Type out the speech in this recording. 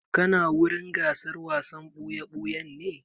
Kana wurin gasar wasan ɓuya-ɓuyan ne?